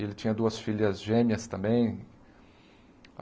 Ele tinha duas filhas gêmeas também.